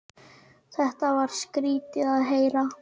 Þetta var skrýtið að heyra.